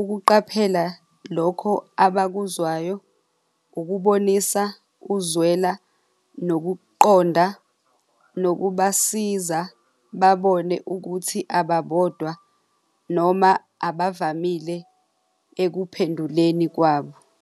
ukuqaphela lokho abakuzwayo, ukubonisa ukuzwela nokuqonda nokubasiza babone ukuthi ababodwa noma abavamile ekuphenduleni kwabo.